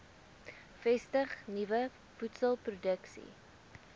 vestig nuwe voedselproduksie